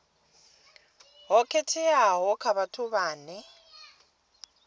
ho khetheaho kha vhathu vhane